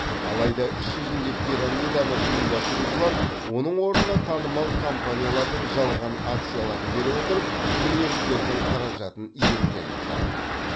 алайда іс жүзінде пирамиданы ұйымдастырушылар оның орнына танымал компаниялардың жалған акцияларын бере отырып клиенттердің қаражатын иемденіпті